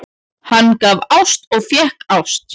Hann gaf ást og fékk ást.